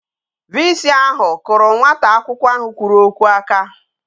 VC ahụ kuru nwata akwụkwọ ahụ kwuru okwu aka